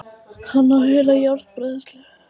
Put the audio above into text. Hann á heila járnbræðslu!